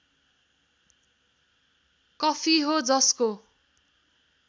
coffee हो जसको